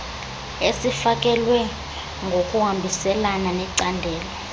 esifakelwe ngokuhambiselana necandelo